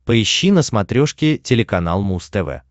поищи на смотрешке телеканал муз тв